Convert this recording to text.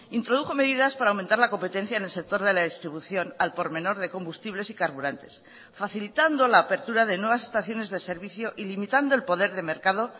introdujo medidas para aumentar la competencia en el sector de la distribución al por menor de combustibles y carburantes facilitando la apertura de nuevas estaciones de servicio y limitando el poder de mercado